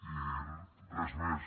i res més